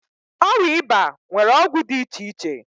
Ọrịa ịba nwere ọgwụ iche iche.